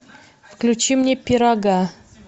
включи мне пирога